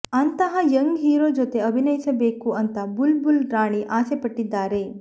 ಅಂತಹ young hero ಜೊತೆ ಅಭಿನಯಿಸಬೇಕು ಅಂತ ಬುಲ್ ಬುಲ್ ರಾಣಿ ಆಸೆ ಪಟ್ಟಿದ್ದಾರೆ